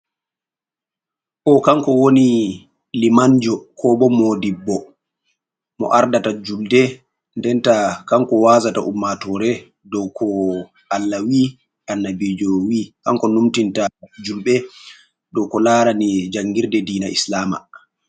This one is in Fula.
O kanko wani limanjo kobo modibbo mo ardata julde, denta kan ko wazata ummatore do ko allawi annabijowi, kanko numtinta julɓe do ko larani jangirde dina Islam.